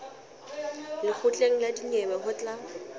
lekgotleng la dinyewe ho tla